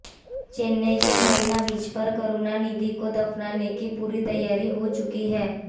चेन्नई के मरीना बीच पर करुणानिधि को दफनाने की पूरी तैयारी हो चुकी है